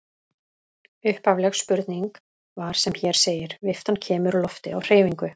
Upphafleg spurning var sem hér segir: Viftan kemur lofti á hreyfingu.